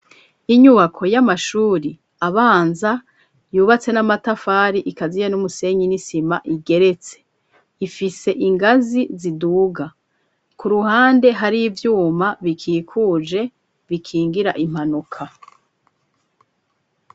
Inyubako y'amashuri abanza yubatse n'amatafari ikaziye n'umusenyi n'isima igeretse ifise ingazi ziduga ku ruhande hari ivyuma bikikuje bikingira impanuka.